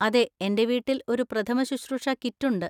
അതെ, എന്‍റെ വീട്ടിൽ ഒരു പ്രഥമശുശ്രൂഷ കിറ്റ് ഉണ്ട്.